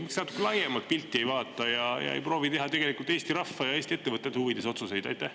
Miks natuke laiemat pilti ei vaata ja ei proovi teha tegelikult Eesti rahva ja Eesti ettevõtete huvides otsuseid?